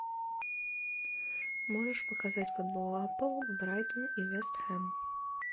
можешь показать футбол апл брайтон и вест хэм